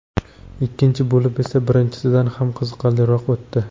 Ikkinchi bo‘lim esa birinchisidan ham qiziqarliroq o‘tdi.